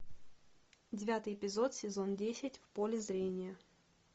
девятый эпизод сезон десять в поле зрения